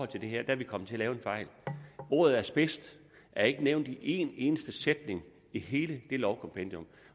det her er vi kommet til at lave en fejl ordet asbest er ikke nævnt i én eneste sætning i hele det lovkompendium